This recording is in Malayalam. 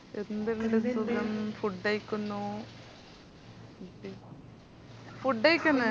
എന്തുണ്ട് സുഖം food കഴിക്കുന്നു food കഴിക്കുന്നു